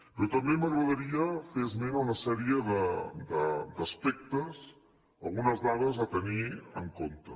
però també m’agradaria fer esment a una sèrie d’aspectes algunes dades a tenir en compte